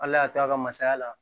Ala y'a to a ka masaya la